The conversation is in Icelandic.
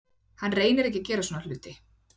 Hann reynir ekki að gera svona hluti.